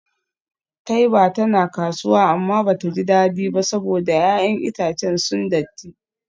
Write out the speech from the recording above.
Taiba tana kasuwa amma bata ji dadi ba saboda 'ya'yan itacen sun datti.